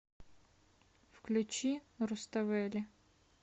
включи руставели